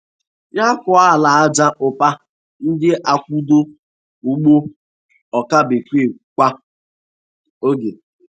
Nyakọ ala aja ụpa na-akwado ugbo ọka bekee kwa oge.